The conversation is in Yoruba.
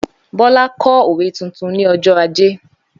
Bólá kọ́ òwe tuntun ní ọjọ́ ajé.